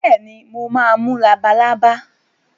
Bẹ́ẹ̀ni, mo máa mú labalábá.